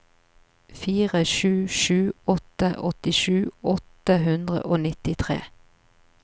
fire sju sju åtte åttisju åtte hundre og nittitre